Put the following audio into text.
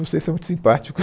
Vocês são muito simpáticos.